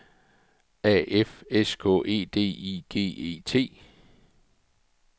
A F S K E D I G E T